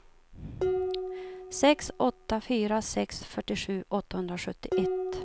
sex åtta fyra sex fyrtiosju åttahundrasjuttioett